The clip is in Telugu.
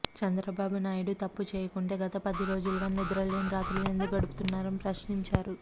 చంద్రబాబు నాయుడు తప్పు చేయకుంటే గత పది రోజులుగా నిద్రలేని రాత్రులు ఎందుకు గడుపుతున్నారని ప్రశ్నించారు